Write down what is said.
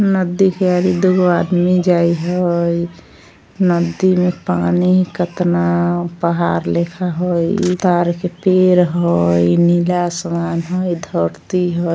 नदी के दू गो आदमी जाय हेय नदी में पानी केतना पहाड़ लिखा होय इ तार के पेड़ होय नीला आसमान हेय ई धरती हेय।